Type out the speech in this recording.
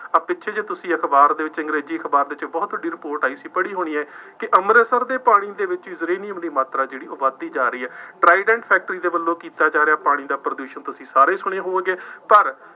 ਆਹ ਪਿੱਛੇ ਜਿਹੇ ਤੁਸੀਂ ਅਖਬਾਰ ਦੇ ਵਿੱਚ ਅੰਗਰੇਜ਼ੀ ਅਖਬਾਰ ਦੇ ਵਿੱਚ ਬਹੁਤ ਵੱਡੀ ਰਿਪੋਰਟ ਆਈ ਸੀ, ਪੜ੍ਹੀ ਹੋਣੀ ਹੈ, ਕਿ ਅੰਮ੍ਰਿਤਸਰ ਦੇ ਪਾਣੀ ਦੇ ਵਿੱਚ ਯੂਰੇਨੀਅਮ ਦੀ ਮਾਤਰਾ ਜਿਹੜੀ ਉਹ ਵੱਧਦੀ ਜਾ ਰਹੀ ਹੈ। ਟਰਾਈਡੈਂਟ ਫੈਕਟਰੀ ਦੇ ਵੱਲੋਂ ਕੀਤਾ ਜਾ ਰਿਹਾ ਪਾਣੀ ਦਾ ਪ੍ਰਦੂਸ਼ਣ, ਤੁਸੀਂ ਸਾਰੇ ਸੁਣੇ ਹੋਣਗੇ, ਪਰ